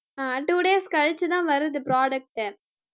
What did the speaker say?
ஆஹ் two days கழிச்சுதான் வருது product